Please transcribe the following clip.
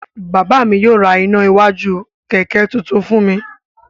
Bàbá mi yóò ra iná iwájú kẹ̀kẹ́ tuntun fún mi.